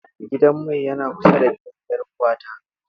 Gidan mai yana kusa da gidan 'yar'uwata.